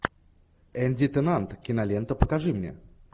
энди теннант кинолента покажи мне